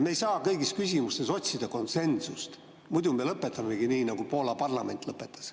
Me ei saa kõigis küsimustes otsida konsensust, muidu me lõpetamegi nii, nagu Poola parlament lõpetas.